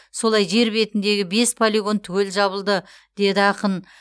солай жер бетіндегі бес полигон түгел жабылды деді ақын